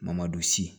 Mamadu si